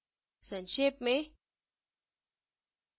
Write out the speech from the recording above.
संक्षेप में